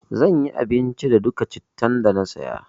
Zan yi abinci da dukka cittan da na saya.